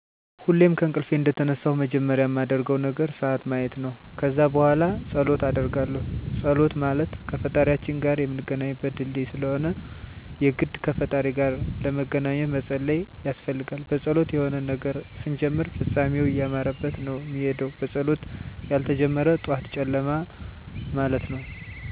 ሁሌም ከእንቅልፌ እንደተነሳሁ መጀመሪያ ማደርገው ነገር ስዓት ማየት ነው። ከዛ በኋላ ፀሎት አደርጋለሁ ፀሎት ማለት ከፈጣሪያችን ጋር ምንገናኝበት ድልድይ ስለሆነ የግድ ከፈጣሪ ጋር ለመገናኜት መፀለይ ያስፈልጋል። በፀሎት የሆነን ነገር ስንጀምር ፍፃሜው እያማረበት ነው ሚሄደው በፀሎት ያልተጀመረ ጠዋት ጨለማ ማለት ነው። ከፀሎት በኋላ ተነስቼ እታጠባለሁ ከዛ ቁርስ በልቼ እምሰራቸው ስራ ካሉኝ እሰራለሁ ከዛ ውጭ መፅሐፍ አነባለሁ።